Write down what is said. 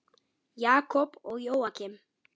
Jakob og Jóakim.